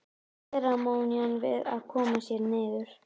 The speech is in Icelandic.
Seremónían við að koma sér niður.